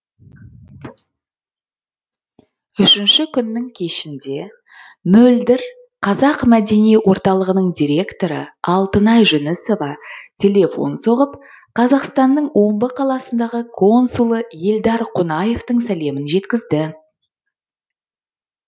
үшінші күннің кешінде мөлдір қазақ мәдени орталығының директоры алтынай жүнісова телефон соғып қазақстанның омбы қаласындағы консулы елдар қонаевтың сәлемін жеткізді